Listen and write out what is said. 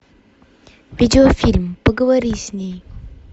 видеофильм поговори с ней